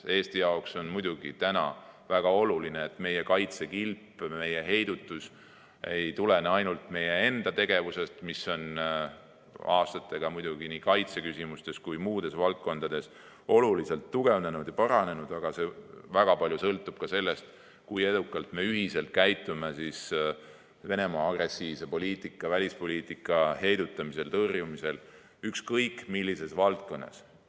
Eesti jaoks on väga oluline, et meie kaitsekilp, meie heidutus ei tulene ainult meie enda tegevusest, mis on aastatega muidugi nii kaitseküsimustes kui ka muudes valdkondades oluliselt tugevnenud ja paranenud, vaid väga palju sõltub ka sellest, kui edukalt me ühiselt käitume Venemaa agressiivse poliitika, välispoliitika heidutamisel, tõrjumisel ükskõik millises valdkonnas.